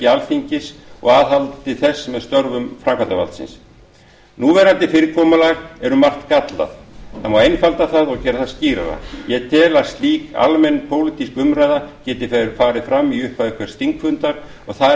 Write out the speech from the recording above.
alþingis og aðhaldi þess með störfum framkvæmdarvaldsins núverandi fyrirkomulag er um margt gallað það má einfalda það og gera það skýrara ég tel að slík almenn pólitísk umræða geti farið fram í upphafi hvers þingfundar og þar